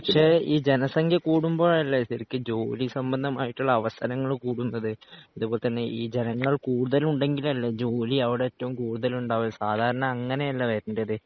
പക്ഷേ ഈ ജനസംഖ്യാ കൂടുംബോഴല്ലേ ശരിക്കും ജോലിസംബന്ധമായിട്ടുള്ള അവസരങ്ങള് കൂടുന്നത് അതേപോലെത്തന്നെ ഈ ജനങ്ങൾ കുടുതല്ഉണ്ടെങ്കിലല്ലേ ജോലി അവിടേറ്റവും കൂടുതലുണ്ടാവ സാധാരണ അങ്ങനെയല്ലേ വരേണ്ടത്